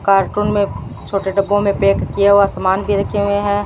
Cartoon में छोटे डब्बों में पैक किया हुआ समान भी रखे हुए हैं।